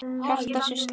Hjartað slær ört.